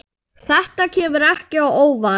Þetta kemur ekki á óvart.